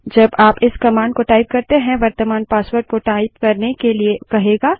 जब आप इस कमांड को टाइप करते हैं वर्त्तमान पासवर्ड को टाइप करने के लिए कहेगा